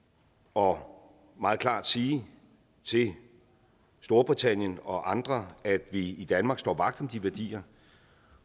og meget klart sige til storbritannien og andre at vi i danmark står vagt om de værdier